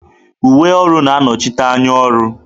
Uwe ọrụ na-anọchite anya ọrụ.